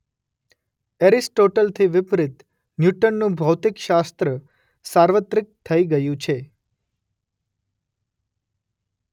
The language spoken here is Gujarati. એરિસ્ટોટલથી વિપરીત ન્યૂટનનું ભૌતિકશાસ્ત્ર સાર્વત્રિક થઈ ગયું છે.